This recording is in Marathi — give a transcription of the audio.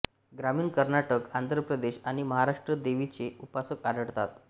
ग्रामीण कर्नाटक आंध्र प्रदेश आणि महाराष्ट्रात देवीचे उपासक आढळतात